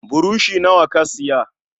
Burushi nawa ka siya?